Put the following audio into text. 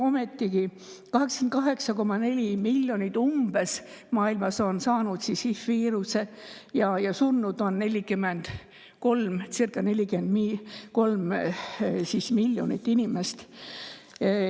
Ometigi on umbes 88,4 miljonit inimest maailmas saanud HI-viiruse ja surnud on sellesse circa 43 miljonit inimest.